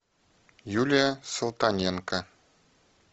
юлия салтаненко